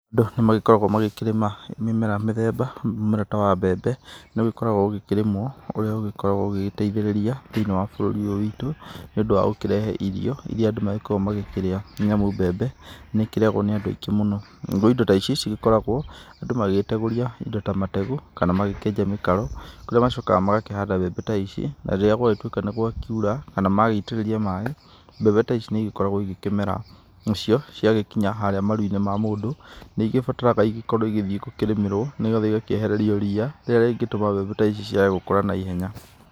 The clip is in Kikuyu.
Andũ nĩ magĩkoragwo magĩkĩrĩma mĩmera mĩthemba, mũmera ta wa mbembe nĩ ũgĩkoragwo ũgĩkĩrĩmwo ũrĩa ũgĩkoragwo ũgĩteithĩrĩria thĩinĩ wa bũrũri ũyũ wĩtũ nĩ ũndũ wa gũkĩrehe irio irĩa andũ magĩkoragwo makĩrĩa nĩamu mbembe nĩ ĩkĩrĩagwo nĩ andũ aingĩ mũno, nagũo indo ta ici cigĩkoragwo andũ magĩgĩtegũrĩa indo ta mategũ kana magĩkĩenja indo ta mĩkaro kũrĩa magĩcokaga magakĩhanda indo ta ici na rĩrĩa gwakĩtuĩka nĩ gwa kĩura kana magĩitĩrĩrio maĩ mbembe ta ici nĩ igĩkoragwo igĩkĩmera nacio, cia gĩkinya harĩa maru-inĩ ma mũndũ ,nĩ ĩgĩbataraga igĩkorwo igĩthiĩ gũkĩrĩmĩrwo nĩgetha igakĩehererio ria rĩrĩa ingĩtũma mbembe ta ici ciage gũkũra naihenya.